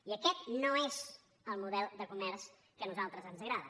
i aquest no és el model de comerç que a nosaltres ens agrada